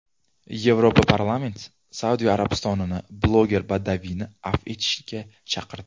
Yevroparlament Saudiya Arabistonini bloger Badaviyni afv etishga chaqirdi.